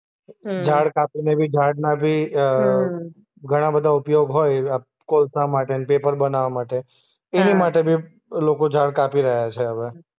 હમ્મ. ઝાડ કાપીને બી ઝાડના બી અ હમ્મ ઘણા બધા ઉપયોગ હોય અ કોલસા માટે ને પેપર બનાવ માટે. હા. એની માટે બી લોકો ઝાડ કાપી રહ્યા છે હવે.